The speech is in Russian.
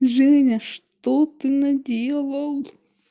женя что ты наделал